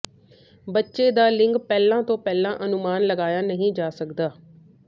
ਬੱਚੇ ਦਾ ਲਿੰਗ ਪਹਿਲਾਂ ਤੋਂ ਪਹਿਲਾਂ ਅਨੁਮਾਨ ਲਗਾਇਆ ਨਹੀਂ ਜਾ ਸਕਦਾ